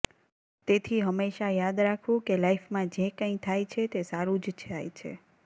તેથી હંમેશા યાદ રાખવું કે લાઈફમાં જે કંઇ થાય છે તે સારું જ થાય છે